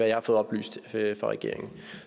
jeg har fået oplyst fra regeringen